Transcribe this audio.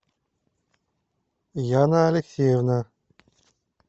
яна алексеевна